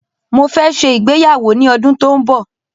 Mó fẹ́ ṣe ìgbéyàwó ní ọdún tó n bọ̀.